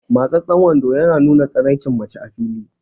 Matsastsan wando ya nuna tsiraicin mace a fili